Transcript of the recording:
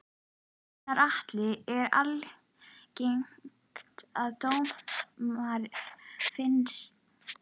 Gunnar Atli: Er algengt að dómar fyrnist?